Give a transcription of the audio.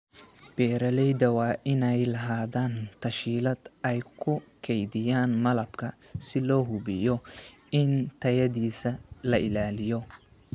Beeralayda waa inay lahaadaan tas-hiilaad ay ku kaydiyaan malabka si loo hubiyo in tayadiisa la ilaaliyo.